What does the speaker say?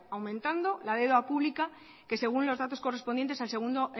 aumentando la deuda pública que según los datos correspondientes al segundo